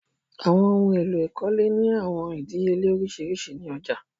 Àwọn ohun èlò ìkọ́lé ni awọn idìíyèlẹ̀ oriṣiríṣi ni ọ̀já.